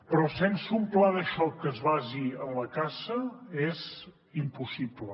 però sense un pla de xoc que es basi en la caça és impossible